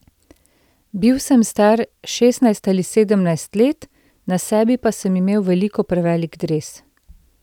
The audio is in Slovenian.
Bil sem star šestnajst ali sedemnajst let, na sebi pa sem imel veliko prevelik dres.